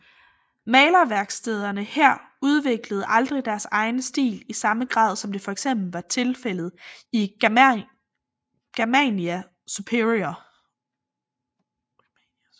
Malerværkstederne her udviklede aldrig deres egen stil i samme grad som det for eksempel var tilfældet i Germania Superior